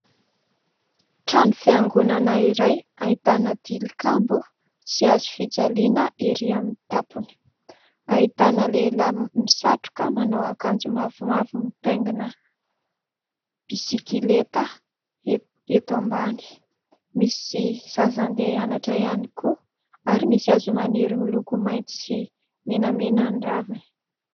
Trano fiangonana iray ahitana tilikambo, sy hazo fijaliana ery amin'ny tampony. Ahitana lehilahy misatroka, manao akanjo mavomavo, mitaingina bisikileta eto ambany ; misy zaza andeha hianatra ihany koa ; ary misy hazo maniry miloko maitso sy menamena ny raviny.